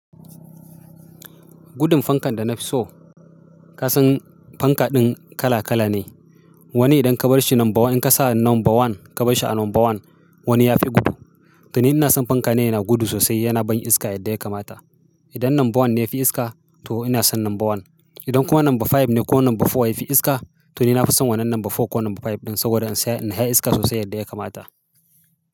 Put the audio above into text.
Gudun fankan da na fi so, ka san fankaɗin kala-kala ne. Wani idan ka bar shi number one, idan ka sa number one, ka bar shi a number one, wani ya fi gudu. To ni ina son fanka ne yana gudu sosai, yana ban iska yadda ya kamata. Idan number one ne ya fi iska to ina son number one. Idan kuma number five ne ko number four ya fi iska to ni na fi son wannan number four ko number five ɗin saboda in saya, in sha iska sosai yadda ya kamata.